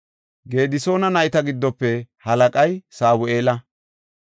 Gedisoona nayta giddofe halaqay Sabu7eela.